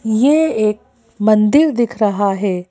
ये एक मंदिर दिख रहा है।